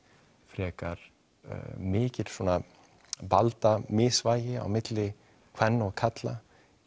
frekar mikil valdamisvægi á milli kvenna og karla